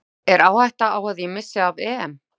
Er áhætta á að ég missi af EM?